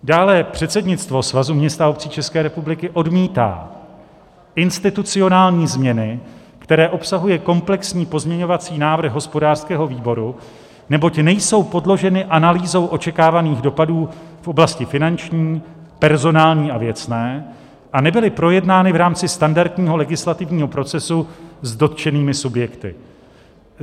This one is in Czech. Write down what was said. Dále předsednictvo Svazu měst a obcí České republiky odmítá institucionální změny, které obsahuje komplexní pozměňovací návrh hospodářského výboru, neboť nejsou podloženy analýzou očekávaných dopadů v oblasti finanční, personální a věcné a nebyly projednány v rámci standardního legislativního procesu s dotčenými subjekty.